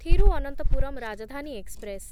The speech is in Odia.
ଥିରୁଭନନ୍ତପୁରମ୍ ରାଜଧାନୀ ଏକ୍ସପ୍ରେସ୍‌